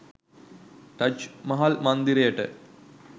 Taj Mahal මන්දිරයට